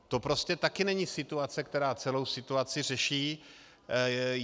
To prostě taky není situace, která celou situaci řeší.